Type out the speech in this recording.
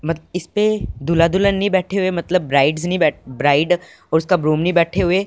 मत इस पे दूल्हा दुल्हन नहीं बैठे हुए है मतलब ब्राइड्स नहीं बैठ ब्राइड और उसका ग्रूम नहीं बैठे हुए --